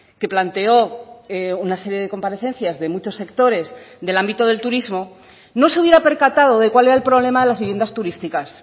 que planteó una serie de comparecencias de muchos sectores del ámbito del turismo no se hubiera percatado de cuál era el problema de las viviendas turísticas